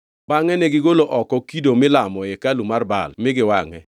Bangʼe negigolo oko kido milamo e hekalu mar Baal mi giwangʼe.